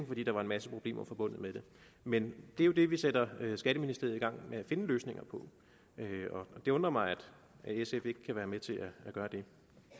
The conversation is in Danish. fordi der er en masse problemer forbundet med det men det er jo det vi sætter skatteministeriet i gang med at finde løsninger på og det undrer mig at sf ikke kan være med til at gøre det